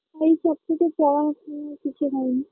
এই সবকিছু পড়াশুনা কিছু হয়নি